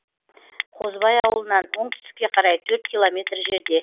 қозыбай ауылынан оңтүстікке қарай төрт километр жерде